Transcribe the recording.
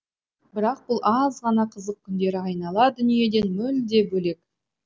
бірақ бұл аз ғана қызық күндері айнала дүниеден мүлде бөлек